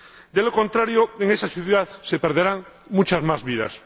De lo contrario, en esa ciudad se perderán muchas más vidas.